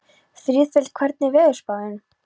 Friðleif, hvernig er veðurspáin?